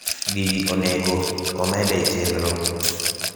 gini onego omede e chenro